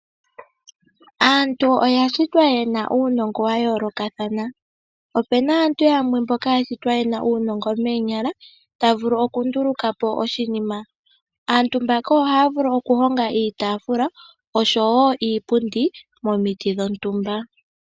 Aantu oya shitwa yena uunongo wa yoolokathana, opuna aantu yamwe mboka ya shitwa yena uunongo moonyala, ta vulu oku ndulukapo oshinima. Aantu mbaka ohaya vulu okuhonga iitafula oshowo iipundi momiti dhontumba.